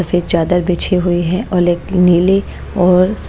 सफेद चादर बिछी हुई है और एक नीली और--